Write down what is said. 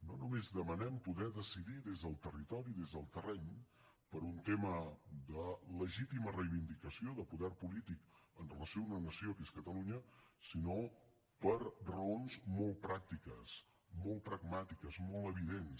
no només demanem poder decidir des del territori des del terreny per un tema de legítima reivindicació de poder polític amb relació a una nació que és catalunya sinó per raons molt pràctiques molt pragmàtiques molt evidents